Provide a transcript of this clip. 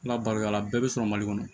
N labaloya la a bɛɛ bɛ sɔrɔ mali kɔnɔ